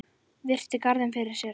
Virti garðinn fyrir sér.